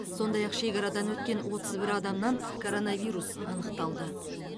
сондай ақ шекарадан өткен отыз бір адамнан коронавирус анықталды